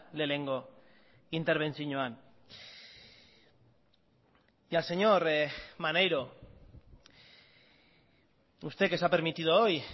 lehenengo interbentzioan y al señor maneiro usted que se ha permitido hoy